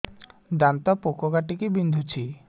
ଦାନ୍ତ ପୋକ କାଟିକି ବିନ୍ଧୁଛି